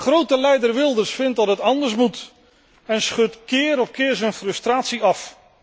Grote leider Wilders vindt dat het anders moet en schudt keer op keer zijn frustratie af.